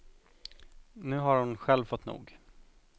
Nu har hon själv fått nog.